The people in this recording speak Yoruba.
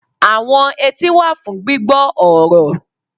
Àwọn etí wà fún gbígbọ́ ọ̀rọ̀